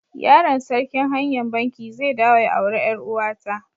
Yaron sarkin hanya'n Bankee zai dawo ya aure yar uwa ta.